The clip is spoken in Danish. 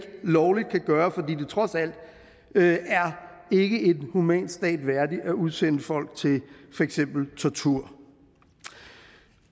lovligt kan gøre fordi det trods alt ikke er en human stat værdig at udsende folk til for eksempel tortur